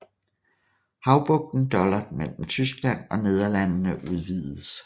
Havbugten Dollart mellem Tyskland og Nederlandene udvidedes